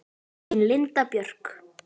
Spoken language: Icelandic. Þín Linda Björk.